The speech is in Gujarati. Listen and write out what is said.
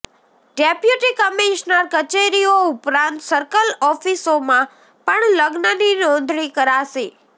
ડેપ્યુટી કમિશનર કચેરીઓ ઉપરાંત સર્કલ ઓફિસોમાં પણ લગ્નની નોંધણી કરાશે